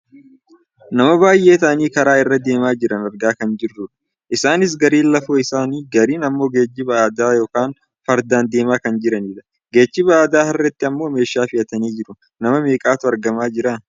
Nama baayyee ta'anii karaa irra deemaa jiran argaa kan jirrudha. Isaanis gariin lafoo isaanii gariin ammoo geejjiba aadaa yookaan fardaan deemaa kan jiranidha. Geejjiba aadaa harreetti ammoo meeshaa fe'atanii jiru. Nama meeqatu argamaa jira?